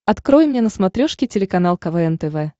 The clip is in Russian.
открой мне на смотрешке телеканал квн тв